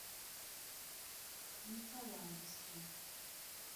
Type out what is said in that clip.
николаевске